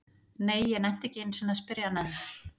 Nei, ég nennti ekki einu sinni að spyrja hann að því